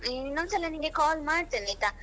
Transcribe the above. ಇನ್ನೊಂದ್ಸಲ ನಿಂಗೆ call ಮಾಡ್ತೇನೆ ಆಯ್ತಾ?